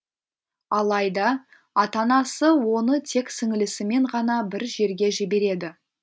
алайда ата анасы оны тек сіңілісімен ғана бір жерге жібереді